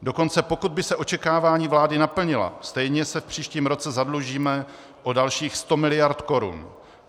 Dokonce pokud by se očekávání vlády naplnila, stejně se v příštím roce zadlužíme o dalších 100 miliard korun.